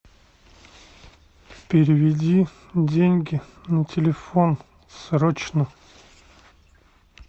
переведи деньги на телефон срочно